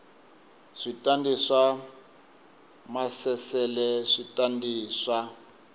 switandati swa maasesele switandati swa